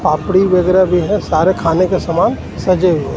पापड़ी वगैरा भी है सारे खाने का सामान सजे हुए हैं.